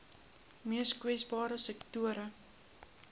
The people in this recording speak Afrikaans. mees kwesbare sektore